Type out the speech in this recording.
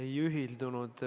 Ei saanud ühendust.